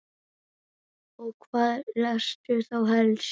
Og hvað lestu þá helst?